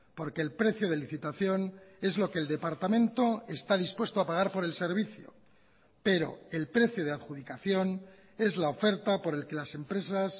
porque el precio de licitación es lo que el departamento está dispuesto a pagar por el servicio pero el precio de adjudicación es la oferta por el que las empresas